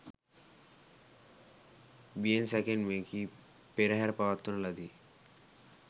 බියෙන් සැකෙන් මෙකී පෙරහර පවත්වන ලදී.